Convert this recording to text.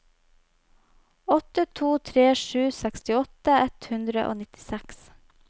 åtte to tre sju sekstiåtte ett hundre og nittiseks